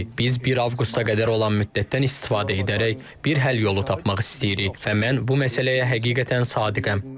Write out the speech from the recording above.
Biz bir avqusta qədər olan müddətdən istifadə edərək bir həll yolu tapmaq istəyirik və mən bu məsələyə həqiqətən sadiqəm.